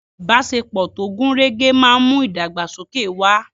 Ìbáṣepọ̀ tó gùn rẹ́gẹ́ máa ń mú ìdàgbàsókè wà.